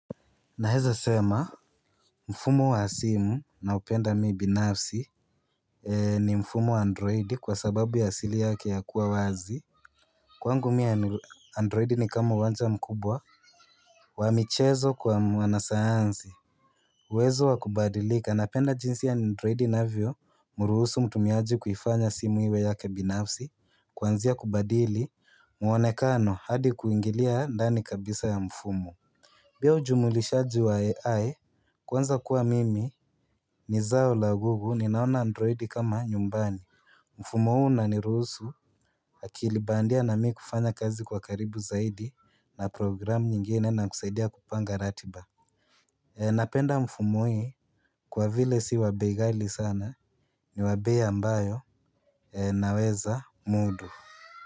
Naeza sema, mfumo wa simu naupenda mimi binafsi ni mfumo wa androidi kwa sababu ya asili yake ya kuwa wazi. Kwangu mimi androidi ni kama uwanja mkubwa, wa michezo kwa mwanasayansi. Uwezo wa kubadilika, napenda jinsi ya androidi inavyo, mruhusu mtumiaji kuifanya simu iwe yake binafsi, kwanzia kubadili, muonekano hadi kuingilia ndani kabisa ya mfumo. Pia ujumulishaji wa AI kwanza kuwa mimi ni zao la gugu ninaona androidi kama nyumbani mfumo huu unanirusu akili bandia na mimi kufanya kazi kwa karibu zaidi na programu nyingine na kusaidia kupanga ratiba Napenda mfumo hii kwa vile si wa bei ghali sana ni wa bei ambayo naweza mudu.